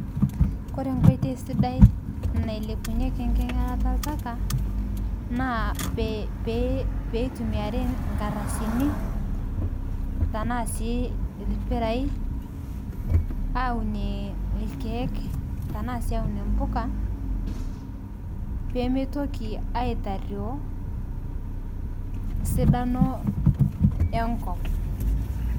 Kore nkoitei sidai nailepunyeki nkinyalata eltaka naa peitumiari nkardasini tanaa sii lpirai awunie lkeek tanaa sii aunie mpukaa pemeitokii aitaruo sidano enkop.